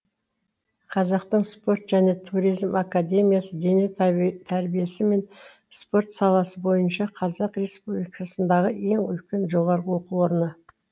қазақтың спорт және туризм академиясы дене тәрбиесі мен спорт саласы бойынша қазақстан республикасындағы ең үлкен жоғары оқу орыны